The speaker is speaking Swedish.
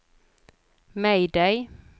mayday